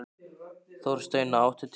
Þorsteina, áttu tyggjó?